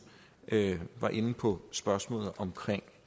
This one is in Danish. var inde på spørgsmålet omkring